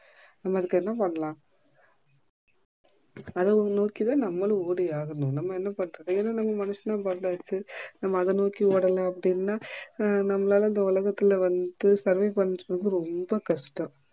நம்ப அதுக்கு என்ன பண்ணலாம் அத நோக்கி தான் நம்மளும் ஓடியாகணும் நம்ப என்ன பண்ணுறது ஏன்னா நம்ம மனுஷனா பொறந்தாச்சு நம்ப அத நோக்கி ஓடல அப்டினா அஹ் நம்மளால இந்த உலகத்துல வந்து survey பன்னுறது ரொம்ப கஷ்டம்